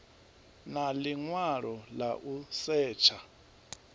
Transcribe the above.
na ḽiṅwalo ḽa u setsha